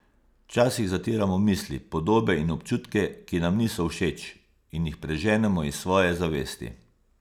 Včasih zatiramo misli, podobe in občutke, ki nam niso všeč, in jih preženemo iz svoje zavesti.